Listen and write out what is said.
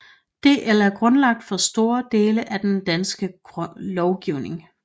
DL er grundlaget for store dele af den danske lovgivning